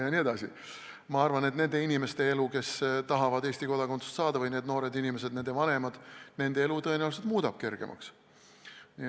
Samas ma arvan, et nende inimeste elu, kes tahavad Eesti kodakondsust saada, nende noorte inimeste ja ehk ka nende vanemate elu tõenäoliselt muutuks kergemaks.